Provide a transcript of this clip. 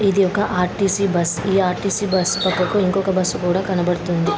ఇది ఒక RTC bus ఈ ఆర్_టి_సి బస్ పక్కకు ఇంకొక బస్సు కూడా కనబడుతుంది.